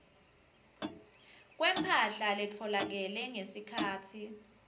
kwemphahla letfolakele ngesikhatsi